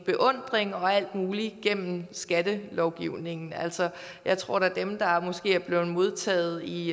beundring over alt muligt gennem skattelovgivningen altså jeg tror da at dem der måske er blevet modtaget i